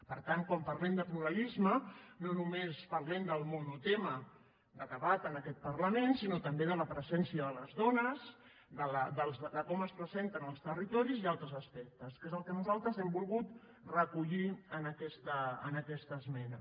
per tant quan parlem de pluralisme no només parlem del monotema de debat en aquest parlament sinó també de la presència de les dones de com es presenten els territoris i altres aspectes que és el que nosaltres hem volgut recollir en aquesta esmena